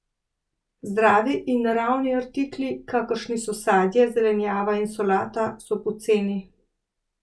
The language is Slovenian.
Zdravi in naravni artikli, kakršni so sadje, zelenjava in solata, so poceni.